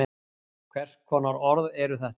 hvers konar orð eru þetta